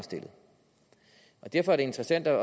derfor er det interessant at